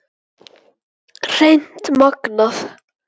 Hreint magnað!